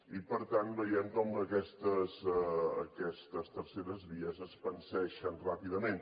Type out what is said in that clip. i per tant veiem com aquestes terceres vies es panseixen ràpidament